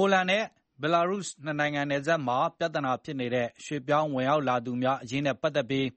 ိုလန်နဲ့ ဘယ်လာရုစ် နှစ်နိုင်ငံနယ်စပ်မှာ ပြဿနာဖြစ်နေတဲ့ ရွှေ့ပြောင်း ဝင်ရောက်သူများအရေးနဲ့ ပတ်သက်ပြီး